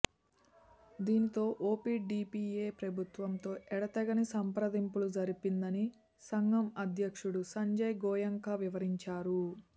దీనితో ఒపిడిపిఎ ప్రభుత్వంతో ఎడతెగని సంప్రదింపులు జరిపిందని సంఘం అధ్యక్షుడు సంజయ్ గోయంకా వివరించారు